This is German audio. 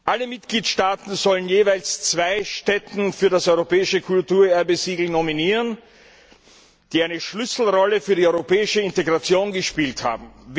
Alle Mitgliedstaaten sollen jeweils zwei Stätten für das Europäische Kulturerbe Siegel nominieren, die eine Schlüsselrolle für die europäische Integration gespielt haben.